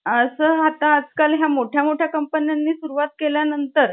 आस आता आजकाल ह्या मोठमोठया कंपन्यांनी सुरवात केल्या नंतर ,